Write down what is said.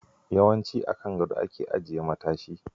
Yawanci a kan gado ake ajiye matashi.